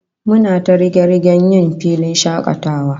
Muna ta riga-rigen yjn filin shakatawa